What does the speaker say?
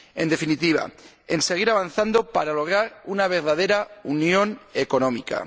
En definitiva, hay que seguir avanzando para lograr una verdadera unión económica.